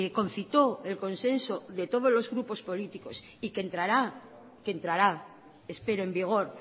concitó el consenso de todos los grupos políticos y que entrará que entrará espero en vigor